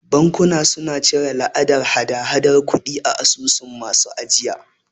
Bankuna suna cire la'adan hada hadar kudi a asusun masu ajiya.